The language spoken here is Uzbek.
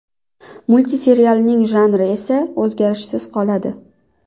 Multserialning janri esa o‘zgarishsiz qoladi.